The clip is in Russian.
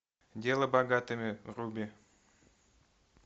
дело богатыми руби